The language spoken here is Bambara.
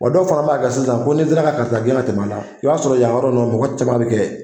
Wa dɔw fana ba kɛ sisan ko ni n sera ka karisa gen ka tɛmɛ a la, i ba sɔrɔ yan yɔrɔ nunnu mɔgɔ caman ba bɛ kɛ ye.